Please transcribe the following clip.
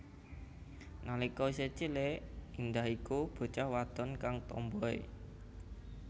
Nalika isih cilik Indah iku bocah wadon kang tomboi